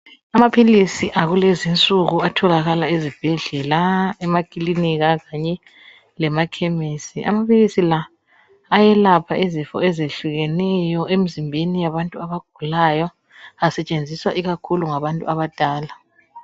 Amaphilisi akulezinsuku atholakala ezibhedlela emaklinika kanye lemakhemisi amaphilisi la ayelapha izifo ezehlukeneyo emzimbeni yabantu abagulayo asetshenziswa ikakhulu ngabantu abadala